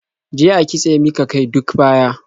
Je a kitsa mika kai duk baya.